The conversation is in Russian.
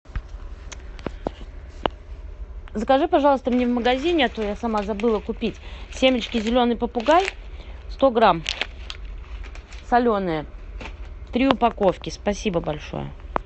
закажи пожалуйста мне в магазине а то я сама забыла купить семечки зеленый попугай сто грамм соленые три упаковки спасибо большое